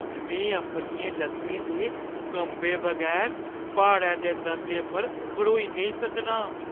में अपनियें ल'त्तें दे कंबे बगैर प्हाड़ै दे दंदे पर खड़ोई नेईं सकनां।